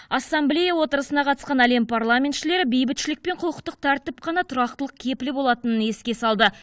ассамблея отырысына қатысқан әлем парламентшілері бейбітшілік пен құқықтық тәртіп қана тұрақтылық кепілі болатынын еске салды